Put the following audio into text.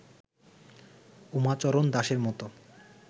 উমাচরণ দাসের মত